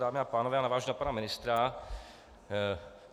Dámy a pánové, já navážu na pana ministra.